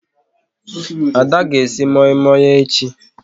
Ada ga esi moi moi echi